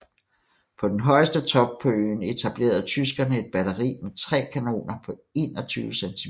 På den højeste top på øen etablerede tyskerne et batteri med 3 kanoner på 21 cm